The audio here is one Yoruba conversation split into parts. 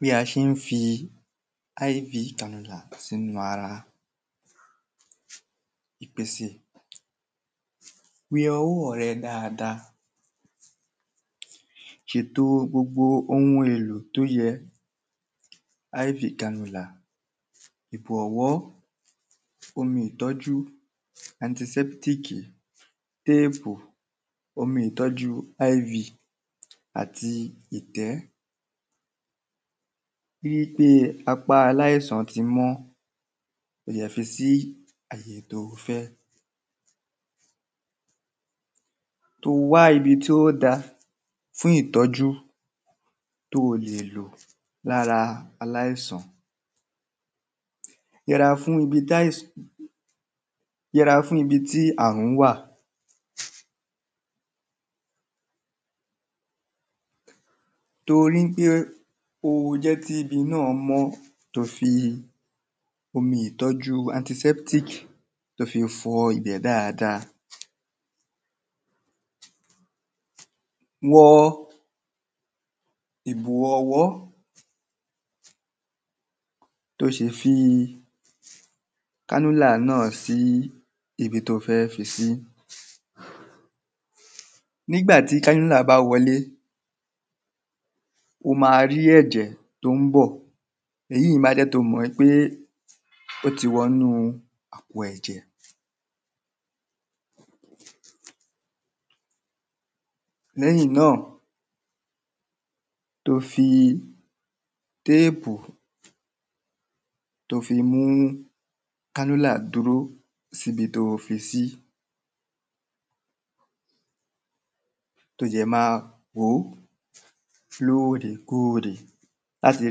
Bí a ṣé ń fi iv tan ìdàgbà sínú ara ìpèsè. Wẹ ọwọ́ rẹ dáada ṣèto ohun gbogbo èlo tó yẹ? ìbò ọ̀wọ́ omi ìtọ́jú antisẹ́ptìkì téèpù omi ìtọ́jú iv àti ìtẹ́. Gbígbé aláìsàn ti mú ó yẹ fi sí àyè tó fẹ́. O wá ibi tí ó dá fún ìtọ́jú tó lè lò lára aláìsàn. Yẹra fún ibi táìsàn Yẹra fún ibi tí àrùn wà tó rí pé ó jẹ́ kí tí ibi náà mó tó fi omi ìtọ́jú antisẹ́ptìkì tó fi fọ ibẹ̀ dáada. Wọ ìbò ọ̀wọ́ tí o ṣì fi kánúlà náà sí ibi tó fẹ́ fi sí. Nígbà tí kánúlà bá wọlé o má rí ẹ̀jẹ̀ tó ń bọ̀ èyí má jẹ́ tó mọ̀ wípé ó ti wọ inú àpò ẹ̀jẹ̀. Lẹ́yìn náà tó fi téèpù tó fi mú kánúlà dúró síbi tó fisí tó jẹ̀ má wòó lóòrèkóòrè láti le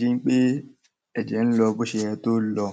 ṣe wípé ẹ̀jẹ̀ ń lọ bó ṣe yẹ kó lọ.